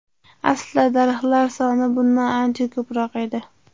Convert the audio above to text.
Aslida daraxtlar soni bundan ancha ko‘proq edi.